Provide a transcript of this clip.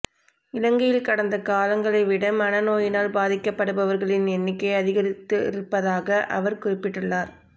இலங்கையில் கடந்த காலங்களைவிட மனநோயினால் பாதிக்கப்படுபவர்களின் எண்ணிக்கை அதிகரித்திருப்பதாகக் அவர் குறிப்பிட்டுள்ளார்